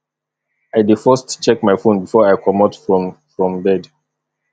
i dey first check my fone before i comot from from bed